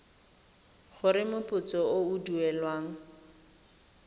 gore moputso o o duelwang